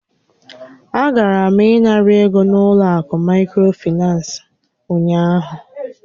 A gara m ịnara ego n'ụlọ akụ microfinance ụnyaahụ.